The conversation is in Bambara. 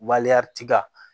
tiga